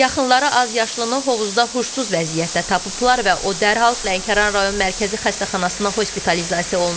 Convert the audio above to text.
Yaxınları azyaşlını hovuzda huşsuz vəziyyətdə tapıblar və o dərhal Lənkəran rayon Mərkəzi xəstəxanasına hospitalizasiya olunub.